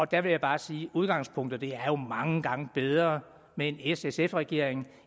der vil jeg bare sige at udgangspunktet jo er mange gange bedre med en s sf regering